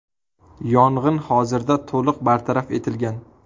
Yong‘in hozirda to‘liq bartaraf etilgan.